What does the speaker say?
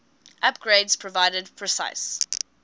upgrades provided precise